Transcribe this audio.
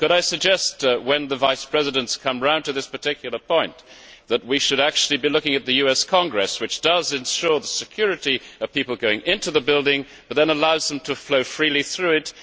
Could I suggest that, when the Vice Presidents come to this particular point, they should be looking at the US Congress, which does ensure the security of people going into the building, but then allows them to flow freely through it.